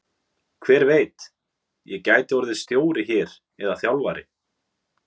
Hver veit, ég gæti orðið stjóri hér eða þjálfari?